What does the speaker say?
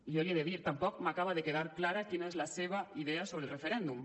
jo l’hi he de dir tampoc m’acaba de quedar clara quina és la seva idea sobre el referèndum